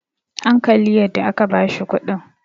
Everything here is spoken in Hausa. an Kalli yadda aka bashi kudin!